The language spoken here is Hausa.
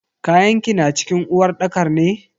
Kayanki na cikin uwarɗakar ne?